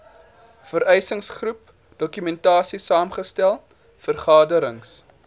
verwysingsgroep dokumentasiesaamgestel vergaderings